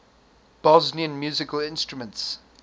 bosnian musical instruments